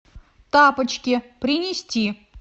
тапочки принести